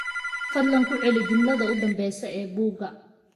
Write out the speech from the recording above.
fadlan ku celi jumlada u dambaysa ee buugga